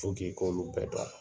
i k'olu bɛɛ dɔn